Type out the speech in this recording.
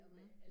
Mh